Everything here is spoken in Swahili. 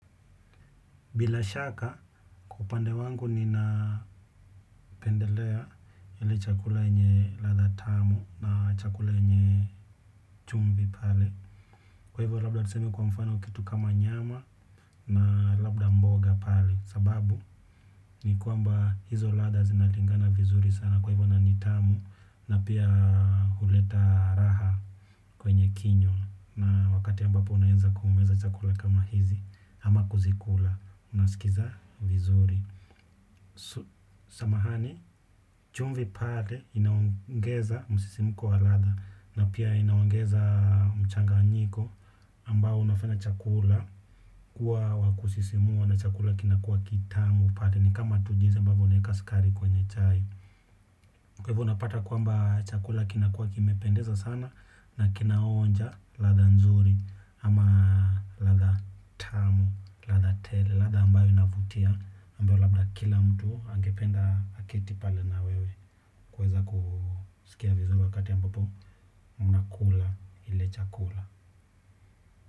Bila shaka kwa upande wangu nina pendelea ile chakula yenye latha tamu na chakula yenye chumvi pale. Kwa hivyo labda tuseme kwa mfano kitu kama nyama na labda mboga pale. Sababu ni kwamba hizo latha zinalingana vizuri sana kwa hivyo na ni tamu na pia huleta raha kwenye kinywa. Na wakati ambapo unaenza kumeza chakula kama hizi ama kuzikula unasikiza vizuri. Samahani, chumvi pale inaongeza msisimko wa latha na pia inaongeza mchanganyiko ambao unafanya chakula kuwa wa kusisimua na chakula kinakua kitamu pale ni kama tu jinsi ambavyo unaeka skari kwenye chai. Kwa hivyo unapata kwamba chakula kinakuwa kimependeza sana na kinaonja latha nzuri ama latha tamu, latha tele, latha ambayo inavutia ambayo labda kila mtu angependa aketi pale na wewe kuweza kusikia vizuri wakati ambapo mnakula ile chakula.